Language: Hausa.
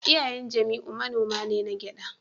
Iyayen Jamiu manoma ne na gyada